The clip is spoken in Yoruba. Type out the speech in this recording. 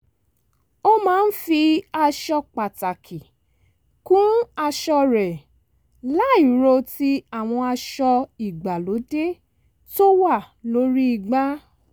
ó máa ń fi aṣọ pàtàkì kún aṣọ rẹ̀ láìro ti àwọn aṣọ ìgbàlóde tó wà lórí igbá